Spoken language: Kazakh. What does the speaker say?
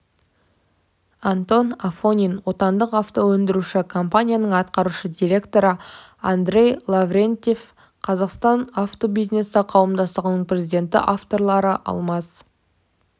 антон афонин отандық автоөндіруші компанияның атқарушы директоры андрей лаврентьев қазақстан авто бизнесі қауымдастығының президенті авторлары алмас